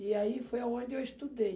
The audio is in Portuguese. E aí foi a onde eu estudei.